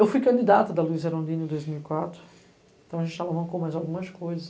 Eu fui candidata da Luísa Erondini em dois mil e quatro, então a gente com mais algumas coisas.